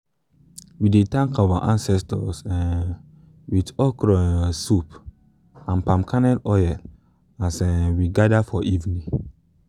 we dey thank our ancestors um with with okra um soup and palm kernel oil as um we gather for evening.